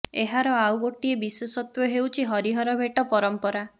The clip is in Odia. ଏହାର ଆଉ ଗୋଟିଏ ବିଶେଷତ୍ବ ହେଉଛି ହରିହର ଭେଟ ପରମ୍ପରା